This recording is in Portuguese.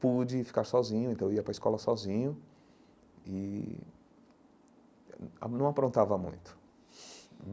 pude ficar sozinho, então eu ia para a escola sozinho e não aprontava muito.